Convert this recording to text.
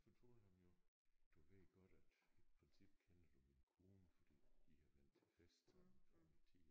Fortalte ham jo du ved godt at i princippet kender du min kone fordi I har været til fest sammen før min tid